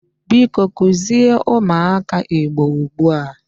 Biko kuzie umuaka Igbo ugbua!